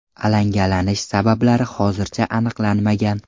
Alangalanish sabablari hozircha aniqlanmagan.